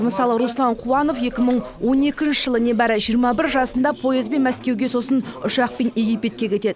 мысалы руслан қуанов екі мың он екінші жылы небәрі жиырма бір жасында поездбен мәскеуге сосын ұшақпен египетке кетеді